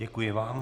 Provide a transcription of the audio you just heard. Děkuji vám.